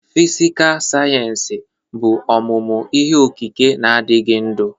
Fịsịkà sayensị bụ ọmụmụ ihe okike na-adịghị ndụ.